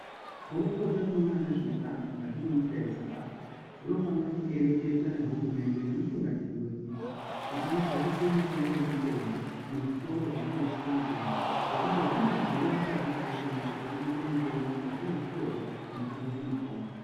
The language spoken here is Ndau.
Guukota rinoona nezveutano mukati menyika yeZimbabwe rinofanire kuereketa nehurumende, nemutungamiriri wenyika kuti adzakise mitengo yemitombo, muzvitoro zvinotengese mitombo, ngekuti handi kudhura akadiba ukona kurikuite mitombo mukati mwezvitoro zvinotengese mitombo.